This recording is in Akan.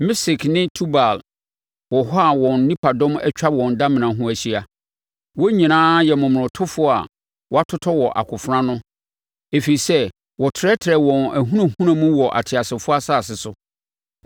“Mesek ne Tubal wɔ hɔ a wɔn nipadɔm atwa wɔn adamena ho ahyia. Wɔn nyinaa yɛ momonotofoɔ a wɔatotɔ wɔ akofena ano ɛfiri sɛ wɔtrɛtrɛɛ wɔn ahunahuna mu wɔ ateasefoɔ asase so.